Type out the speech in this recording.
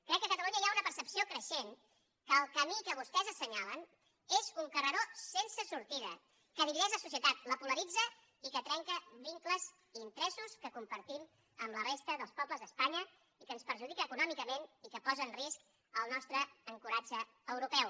crec que a catalunya hi ha una percepció creixent que el camí que vostès assenyalen és un carreró sense sortida que divideix la societat la polaritza i que trenca vincles i interessos que compartim amb la resta dels pobles d’espanya i que ens perjudica econòmicament i que posa en risc el nostre ancoratge europeu